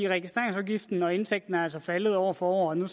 registreringsafgiften og indtægten er altså faldet år for år og nu